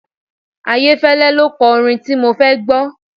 Ayéfẹ́lẹ́ lo kọ orin tí mo fẹ́ gbọ́.